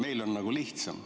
Meil on nagu lihtsam.